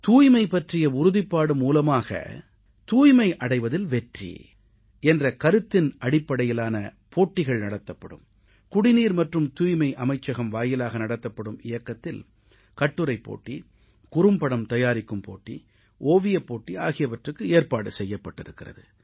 தூய்மை பற்றிய உறுதிப்பாடு மூலமாக தூய்மை அடைவதில் வெற்றி என்ற கருத்தினடிப்படையிலான போட்டிகள் நடத்தப்படும் குடிநீர் மற்றும் தூய்மை அமைச்சகம் வாயிலாக நடத்தப்படும் இயக்கத்தில் கட்டுரைப் போட்டி குறும்படம் தயாரிக்கும் போட்டி ஓவியப்போட்டி ஆகியவற்றுக்கு ஏற்பாடு செய்யப்பட்டிருக்கிறது